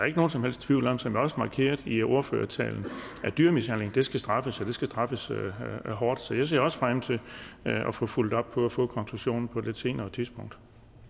ikke nogen som helst tvivl om som det også er markeret i ordførertalen at dyremishandling skal straffes og det skal straffes hårdt så jeg ser også frem til at få fulgt op på det og få konklusionen på et senere tidspunkt